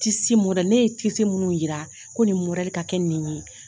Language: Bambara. Tisi ne ye tisi minnu yira ko nin ka kɛ nin ye